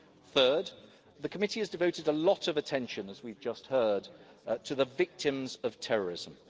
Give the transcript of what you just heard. field. Third, the committee has devoted a lot of attention, as we've just heard, to the victims of terrorism.